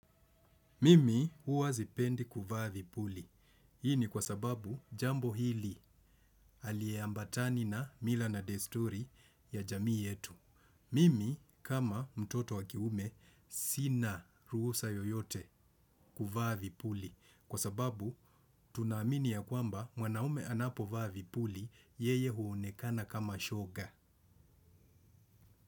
Mimi huwa sipendi kuvaa vipuli. Hii ni kwa sababu jambo hili haliambatani na mila na desturi ya jamii yetu. Mimi kama mtoto wa kiume sina ruhusa yoyote kuvaa vipuli. Kwa sababu tunaamini ya kwamba mwanaume anapo vaa vipuli yeye huonekana kama shoga.